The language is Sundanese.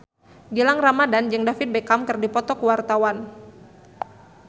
Gilang Ramadan jeung David Beckham keur dipoto ku wartawan